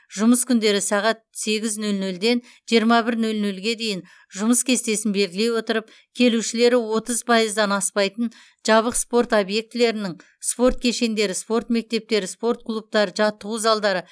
жұмыс күндері сағат сегіз нөл нөлден жиырма бір нөл нөлге дейін жұмыс кестесін белгілей отырып келушілері отыз пайыздан аспайтын жабық спорт объектілерінің спорт кешендері спорт мектептері спорт клубтары жаттығу залдары